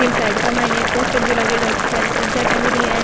साइड के मायने एक पोस्टर भी लागेड़ो है इतनी सारी चीजां टंग रही है।